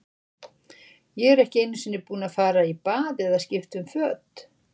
Ég er ekki einu sinni búinn að fara í bað eða skipta um föt.